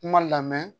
Kuma lamɛn